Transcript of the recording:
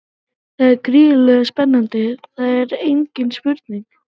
Það er gríðarleg spenna, það er engin spurning.